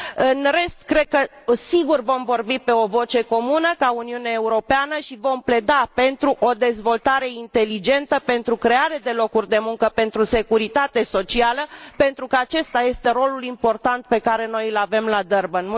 În rest, sunt sigură că vom vorbi cu o voce comună, ca Uniune Europeană, și vom pleda pentru o dezvoltare inteligentă, pentru crearea de locuri de muncă și pentru securitate socială, pentru că acesta este rolul important pe care noi îl avem la Durban.